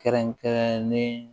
Kɛrɛnkɛrɛnnen